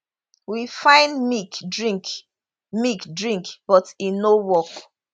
we find milk drink milk drink but e no work